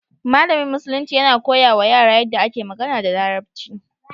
Malamin Musulunci yana koya wa yara yadda ake magana da Larabci.